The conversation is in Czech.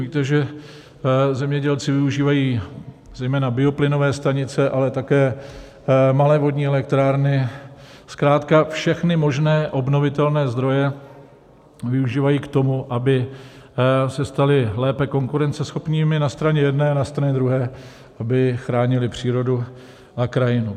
Víte, že zemědělci využívají zejména bioplynové stanice, ale také malé vodní elektrárny, zkrátka všechny možné obnovitelné zdroje využívají k tomu, aby se stali lépe konkurenceschopnými na straně jedné a na straně druhé aby chránili přírodu a krajinu.